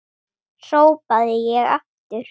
hrópaði ég aftur.